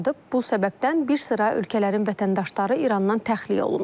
Bu səbəbdən bir sıra ölkələrin vətəndaşları İrandan təxliyə olunur.